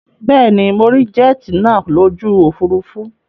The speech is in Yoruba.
Bẹ́ẹ̀ ni, mo rí jet nàá lójú òfurufú